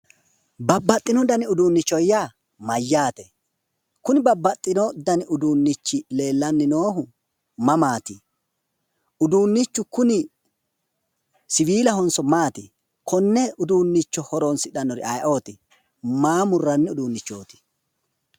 Babbaxxino dani uduunnicho yaa mayyaate? Kuni babbaxxino dani uduunnichi leellanni noohu mamaati? Uduunnichu kuni siwiilahonso maati? Konne uduunne horoonsidhannori ayiooti? Maa murranni uduunnichooti?